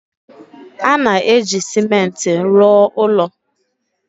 . A na-eji ciment rụọ ụlọ.